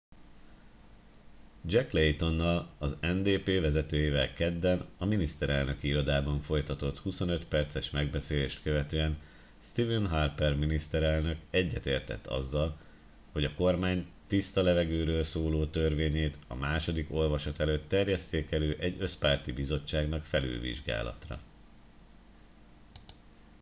jack laytonnal az ndp vezetőjével kedden a miniszterelnöki irodában folytatott 25 perces megbeszélést követően stephen harper miniszterelnök egyetértett azzal hogy a kormány tiszta levegőről szóló törvényét a második olvasat előtt terjesszék elő egy összpárti bizottságnak felülvizsgálatra